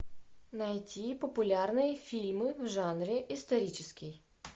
найти популярные фильмы в жанре исторический